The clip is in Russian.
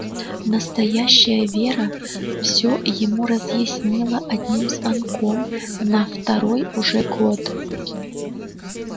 настоящая вера все ему разъяснила одним звонком на второй уже год